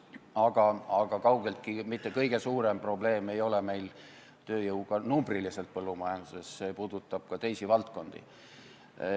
Aga numbriliselt ei ole meil kõige suurem probleem tööjõuga kaugeltki mitte põllumajanduses, see puudutab ka teisi valdkondi.